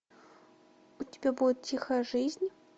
у тебя будет тихая жизнь